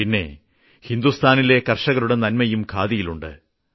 പിന്നെ ഹിന്ദുസ്ഥാനിലെ കർഷകരുടെ നന്മയും ഖാദിയിലുണ്ട്